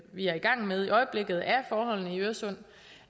vi er gang med i øjeblikket af forholdene i øresund